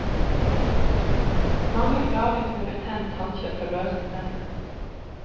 Mange plages med betent tannkjøtt og løse tenner.